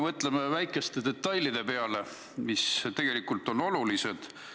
Mõtleme ka väikeste detailide peale, mis tegelikult on olulised.